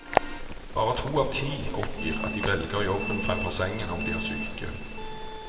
Bare to av ti oppgir at de velger jobben fremfor sengen om de er syke.